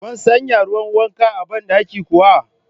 Kun sanya ruwan wanka a ban dakin kuwa?.